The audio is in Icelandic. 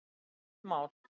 Þetta er eitt mál.